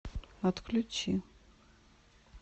отключи